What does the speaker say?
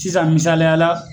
Sisan misaliyala